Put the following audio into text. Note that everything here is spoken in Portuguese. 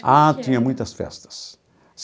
Ah, tinha muitas festas.